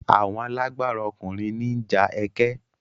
Àwọn alágbára ọkùnrin ní ń ja ẹkẹ.